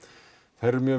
þær eru mjög